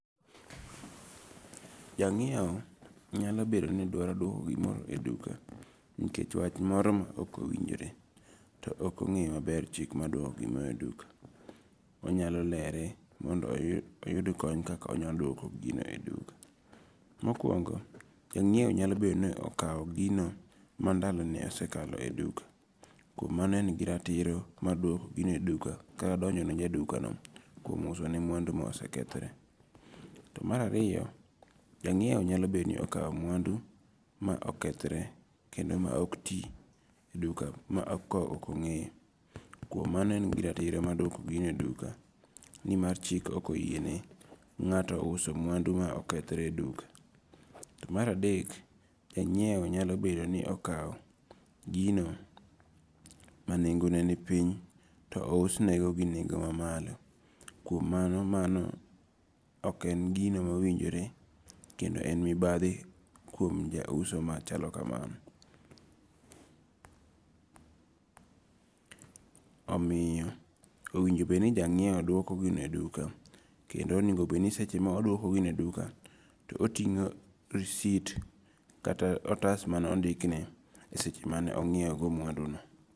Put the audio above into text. Janyiewo nyalo bedo ni dwaro duoko gimoro e duka, nikech wach moro ma okowinjore, to okogeyo mabe chich mar dwoko gimoro e duka, onyalo lere mondo oyud kony kaka inyalo dwoko gino e duka, mokuongo janyiewo nyalo bed ni okawo gino ma ndalone osekalo e duka , kuom mano en gi ratiro ma duoko gino e duka kata donjone jadukano kuom usone mwandu ma osekethore, to marariyo janyiewo nyalo bed ni akawo mwandu ma okethre kendo ma ok ti e duka ma okonge'yo, kuom mano en gi ratiro ma dwoko gino e duka ni mar chik okoyiene nga; to uso mwandu ma okethre e duka, to maradek janyiewo nyalo bedo ni okawo, gino manengone ni piny to ousnego gi e nengo' ma malo kuom mano mano ok en gino ma owinjore kendo en mibathi kuom jauso machalo kamano. Omiyo owinjo bed ni ja nyiewo duoko gino e duka kendo onigo bed ni seche ma oduoko gino e duka to otingo' risit kata otas mane ondikne e seche mane anyiewogo mwanduno.